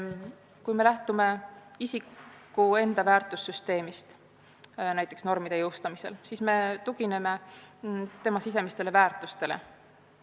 Kui me lähtume normide jõustamisel isiku enda väärtussüsteemist, siis me tugineme tema väärtushinnangutele.